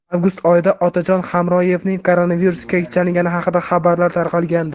Avgust oyida Otajon Hamroyevning koronavirusga chalingani haqida xabarlar tarqalgandi.